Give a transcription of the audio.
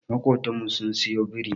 Makotan mu sun siyo biri.